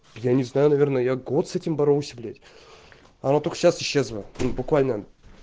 я не знаю наверное я год с этим боролся блять она только сейчас исчезла ну буквально